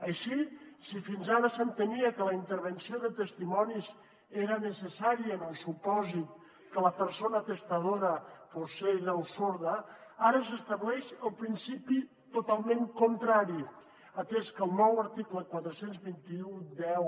així si fins ara s’entenia que la intervenció de testimonis era necessària en el supòsit que la persona testadora fos cega o sorda ara s’estableix el principi totalment contrari atès que el nou article quaranta dos mil cent i deu